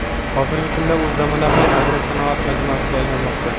Hozirgi kunda u zamonaviy agrosanoat majmuasiga aylanmoqda.